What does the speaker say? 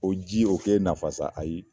O ji o ke e nafa sa ayi.